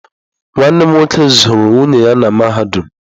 Nwanne m nwoke zụrụ nwunye ya na mahadum.